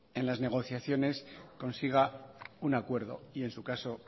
en las negociaciones consiga un acuerdo y en su caso